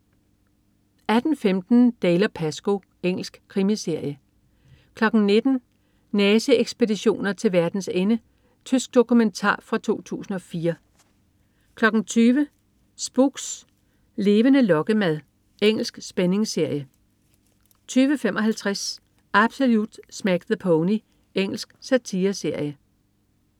18.15 Dalziel & Pascoe. Engelsk krimiserie 19.00 Nazi-ekspeditioner til verdens ende. Tysk dokumentar fra 2004 20.00 Spooks: Levende lokkemad. Engelsk spændingsserie 20.55 Absolute Smack the Pony. Engelsk satireserie